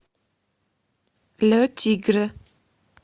ле тигре